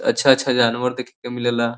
अच्छा-अच्छा जानवर देखे के मिले ला।